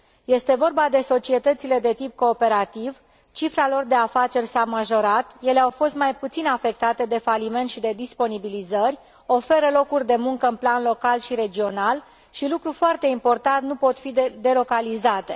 Este vorba de societățile de tip cooperativ cifra lor de afaceri s a majorat, ele au fost mai puțin afectate de faliment și de disponibilizări, oferă locuri de muncă în plan local și regional și, lucru foarte important, nu pot fi delocalizate.